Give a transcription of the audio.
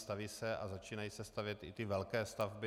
Staví se a začínají se stavět i ty velké stavby.